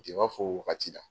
Je b'a f'o wagati la